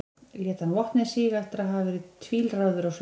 lét hann vopnið síga eftir að hafa verið tvílráður á svip